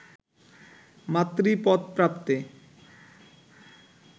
মাতৃপদ প্রাপ্তে